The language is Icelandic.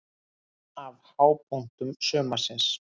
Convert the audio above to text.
Einn af hápunktum sumarsins.